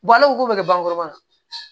Balo ko be kɛ bagankuru kɔnɔ